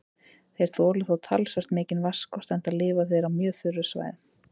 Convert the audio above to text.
Þeir þola þó talsvert mikinn vatnsskort enda lifa þeir á mjög þurrum svæðum.